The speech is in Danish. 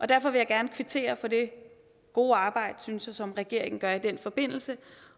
derfor vil jeg gerne kvittere for det gode arbejde synes jeg som regeringen gør i den forbindelse